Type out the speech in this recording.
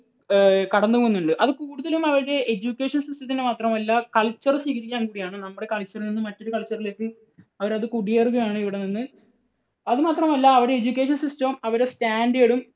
ഏർ കടന്നുപോകുന്നുണ്ട്. അത് കൂടുതലും അവരുടെ education system ന്റെ മാത്രമല്ല culture സ്വീകരിക്കാൻ കൂടിയാണ്. നമ്മുടെ culture ൽ നിന്ന് മറ്റൊരു culture ലേക്ക് അവരത് കുടിയേറുകയാണ് ഇവിടെനിന്ന്. അതു മാത്രമല്ല അവരുടെ education system ഉം അവരുടെ standard ഉം